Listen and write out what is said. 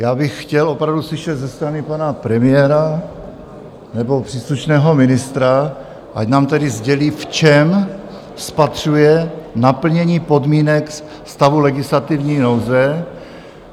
Já bych chtěl opravdu slyšet ze strany pana premiéra nebo příslušného ministra, ať nám tedy sdělí, v čem spatřuje naplnění podmínek stavu legislativní nouze.